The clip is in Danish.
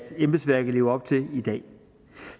embedsværket lever op til i dag